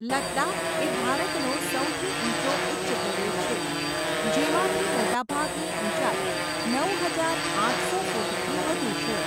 લદ્દાખ એ ભારતનો સૌથી ઊંચો ઉચ્ચપ્રદેશ છે, જેમાંથી મોટાભાગની ઊંચાઈ નવ હજાર આઠસો ફૂટથી વધુ છે.